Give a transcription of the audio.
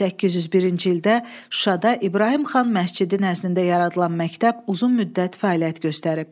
1801-ci ildə Şuşada İbrahim xan Məscidi nəznində yaradılan məktəb uzun müddət fəaliyyət göstərib.